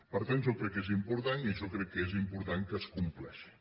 per tant jo crec que és important i jo crec que és important que es compleixi